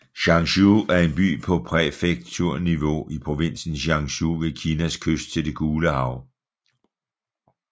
Changzhou er en by på præfekturniveau i provinsen Jiangsu ved Kinas kyst til det Gule Hav